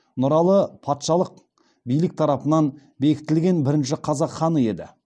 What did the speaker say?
нұралы патшалық билік тарапынан бекітілген бірінші қазақ ханы еді